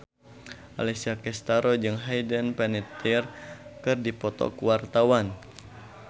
Alessia Cestaro jeung Hayden Panettiere keur dipoto ku wartawan